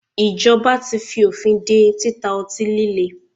Ìjọba tí fí òfin dé títa ọtí líle.